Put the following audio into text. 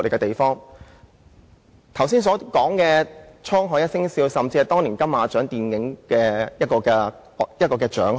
我剛才提及的"滄海一聲笑"，甚至在當年金馬獎影展獲得獎項。